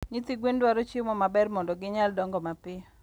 Nyithi gwen dwaro chiemo maber mondo gi nyal dongo mapiyo.